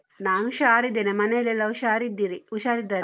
ನಾನು ಹುಷಾರಿದ್ದೇನೆ, ಮನೆಯಲ್ಲೆಲ್ಲ ಹುಷಾರಿದ್ದೀರಿ ಹುಷಾರಿದ್ದಾರೆ.